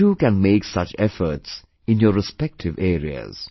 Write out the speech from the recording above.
You too can make such efforts in your respective areas